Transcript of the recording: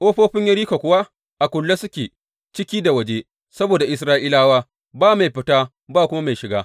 Ƙofofin Yeriko kuwa a kulle suke ciki da waje saboda Isra’ilawa, ba mai fita babu kuma mai shiga.